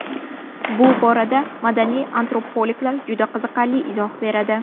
Bu borada madaniy antropologlar juda qiziqarli izoh beradi.